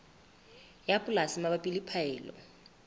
ya polasi mabapi le phaello